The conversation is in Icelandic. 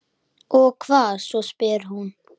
Og hvað svo, spyr hún.